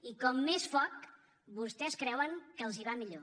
i com més foc vostès creuen que els va millor